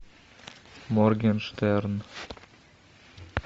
моргенштерн